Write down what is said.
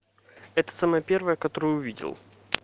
это самая первая которую увидел